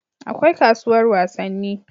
akwai kasuwar wasanni